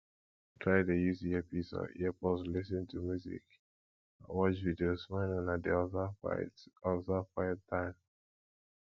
try de use earpiece or earpods lis ten to music or watch videos when una de observe quite observe quite time